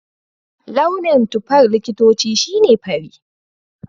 Launin tufar likitoci shi ne fari.